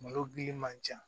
Malo gili man ca